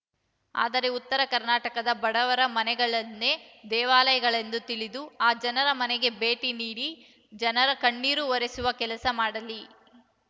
ಆದರೆ ಉತ್ತರ ಕರ್ನಾಟಕದ ಬಡವರ ಮನೆಗಳನ್ನೇ ದೇವಾಲಯಗಳೆಂದು ತಿಳಿದು ಆ ಜನರ ಮನೆಗೆ ಭೇಟಿ ನೀಡಿ ಜನರ ಕಣ್ಣೀರು ಒರೆಸುವ ಕೆಲಸ ಮಾಡಲಿ